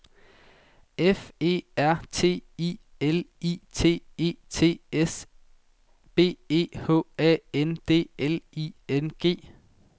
F E R T I L I T E T S B E H A N D L I N G